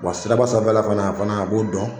Wa siraba sanfɛla fana a fana a b'o dɔn,